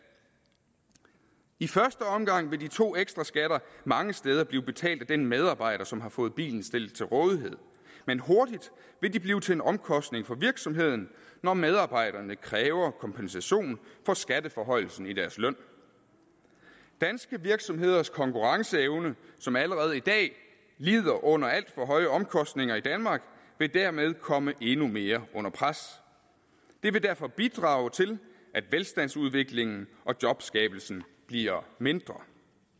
i første omgang vil de to ekstraskatter mange steder blive betalt af den medarbejder som har fået bilen stillet til rådighed men hurtigt vil de blive til en omkostning for virksomheden når medarbejderne kræver kompensation for skatteforhøjelsen i deres løn danske virksomheders konkurrenceevne som allerede i dag lider under alt for høje omkostninger i danmark vil dermed komme endnu mere under pres det vil derfor bidrage til at velstandsudviklingen og jobskabelsen bliver mindre